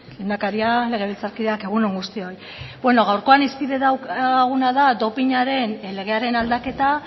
lehendakaria legebiltzarkideak egun on guztioi bueno gaurkoan hizpide daukaguna da dopinaren legearen aldaketa